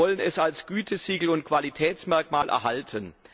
Wir wollen es als Gütesiegel und Qualitätsmerkmal erhalten.